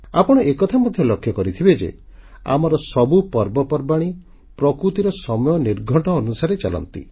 ଆପଣ ଏକଥା ମଧ୍ୟ ଲକ୍ଷ୍ୟ କରିଥିବେ ଯେ ଆମର ସବୁ ପର୍ବପର୍ବାଣୀ ପ୍ରକୃତିର ସମୟ ନିର୍ଘଣ୍ଟ ଅନୁସାରେ ଚାଲନ୍ତି